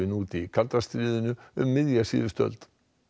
út í kalda stríðinu um miðja síðustu öld